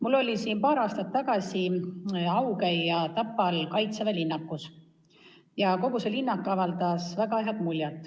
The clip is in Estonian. Mul oli paar aastat tagasi au käia Tapal Kaitseväe linnakus ja kogu see linnak jättis väga hea mulje.